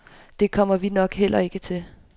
Det kommer vi nok heller ikke til.